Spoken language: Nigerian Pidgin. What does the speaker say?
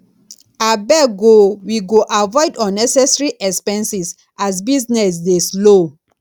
abeg o we go avoid unnecessary expenses as business dey slow